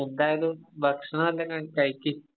എന്തായാലും ഭക്ഷണം എന്തെങ്ങാനും കഴിക്ക്.